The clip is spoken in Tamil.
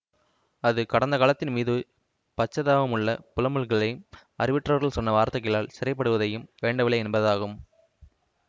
அது கடந்த காலத்தின் மீது பச்சதாபமுள்ள புலம்பல்களையும் அறிவற்றவர்கள் சொன்ன வார்த்தைகளால் சிறைப்படுவதையும் வேண்டவில்லை என்பதாகும்